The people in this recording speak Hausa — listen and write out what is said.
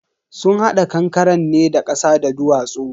sun hada kankaren ne da kasa da duwatsu.